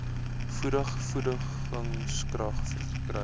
voeding voedingskrag verkry